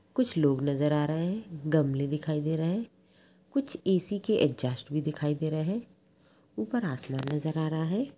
कुछ लोग नजर आ रहे हैं गमले दिखाई दे रहे हैं| कुछ ए.सी. के एगजस्त भी दिखाई दे रहे हैं ऊपर आसमान नजर आ रहा है।